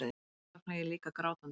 Oft vaknaði ég líka grátandi.